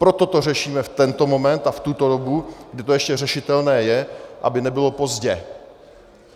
Proto to řešíme v tento moment a v tuto dobu, kdy to ještě řešitelné je, aby nebylo pozdě!